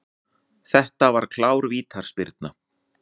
Þetta var klár vítaspyrna.